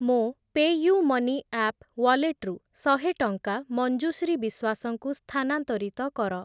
ମୋ PayUMoney app wallet ରୁ ଶହେ ଟଙ୍କା ମଞ୍ଜୁଶ୍ରୀ ବିଶ୍ୱାସଙ୍କୁ ସ୍ଥାନାନ୍ତରିତ କର।